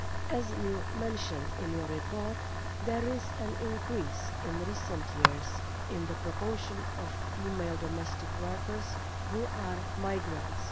As is mentioned in the report, there has been an increase in recent years in the proportion of female domestic workers who are migrants.